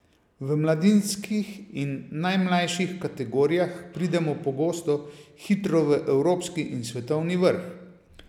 V mladinskih in najmlajših kategorijah pridemo pogosto hitro v evropski in svetovni vrh.